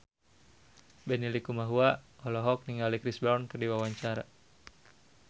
Benny Likumahua olohok ningali Chris Brown keur diwawancara